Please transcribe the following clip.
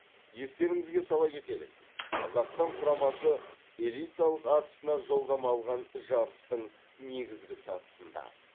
естеріңізге сала кетелік қазақстан құрамасы элиталық атысына жолдама алған жарыстың негізгі сатысында